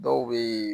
Dɔw bɛ yen